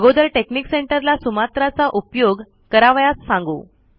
अगोदर technique centre ला Sumatra चा उपयोग करावयास सांगू